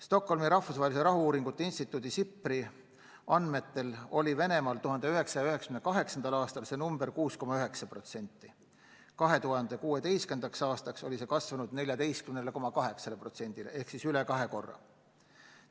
Stockholmi Rahvusvahelise Rahu-uuringute Instituudi andmetel oli Venemaal 1998. aastal see näitaja 6,9%, 2016. aastaks oli see kasvanud 14,8%-ni ehk siis üle kahe korra suurem.